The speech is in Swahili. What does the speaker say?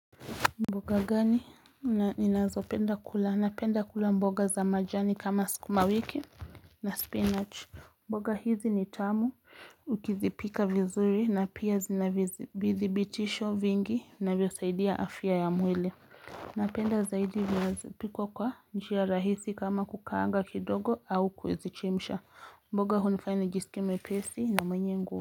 Mboga gani ninazopenda kula napenda kula mboga za majani kama skuma wiki na spinach mboga hizi ni tamu ukizipika vizuri na pia zina vizi vithibitisho vingi vinavyosaidia afya ya mwile Napenda zaidi zinavyo zipikwa kwa njia rahisi kama kukaanga kidogo au kuzichemsha mboga hunifanya nijisikie mwepesi na mwenye ngu.